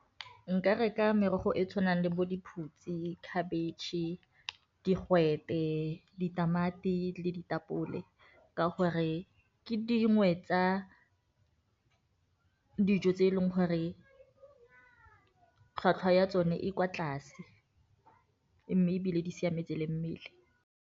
Nka reka merogo e tshwanang le bo diphutshe, khabetšhe, digwete, ditamati, le ditapole ka gore ke dingwe tsa dijo tse e leng gore tlhwatlhwa ya tsone e kwa tlase, mme ebile di siametse le mmele.